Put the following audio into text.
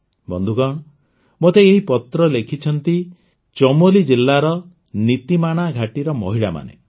ବନ୍ଧୁଗଣ ମୋତେ ଏହି ପତ୍ର ଲେଖିଛନ୍ତି ଚମୋଲି ଜିଲାର ନୀତୀମାଣା ଘାଟିର ମହିଳାମାନେ